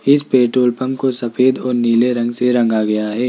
इस petrol pump को सफेद और नीले रंग से रंगा गया है।